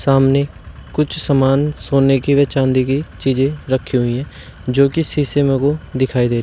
सामने कुछ सामान सोने की व चांदी की चीजें रखी हुई हैं जो की शीशे में दिखाई दे रही--